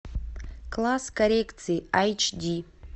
класс коррекции айч ди